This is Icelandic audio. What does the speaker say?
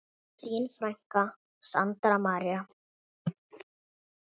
Þín frænka, Sandra María.